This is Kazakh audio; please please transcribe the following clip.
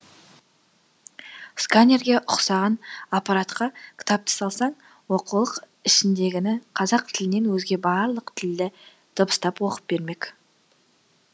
сканерге ұқсаған аппаратқа кітапты салсаң оқулық ішіндегіні қазақ тілінен өзге барлық тілде дыбыстап оқып бермек